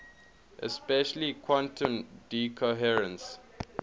especially quantum decoherence